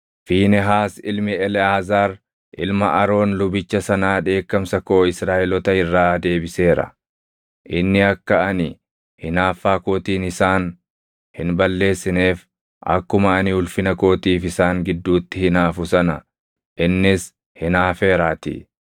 “Fiinehaas ilmi Eleʼaazaar ilma Aroon lubicha sanaa dheekkamsa koo Israaʼeloota irraa deebiseera; inni akka ani hinaaffaa kootiin isaan hin balleessineef, akkuma ani ulfina kootiif isaan gidduutti hinaafu sana innis hinaafeeraatii.